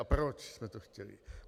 A proč jsme to chtěli?